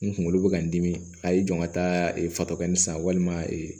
N kunkolo bɛ ka n dimi a y'i jɔ ka taa fatɔ kɛnɛ san walima ee